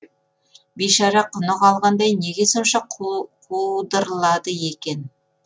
бейшара құны қалғандай неге сонша қудырлады екен